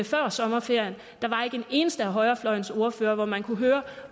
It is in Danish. før sommerferien der var ikke en eneste af højrefløjens ordførere hvor man kunne høre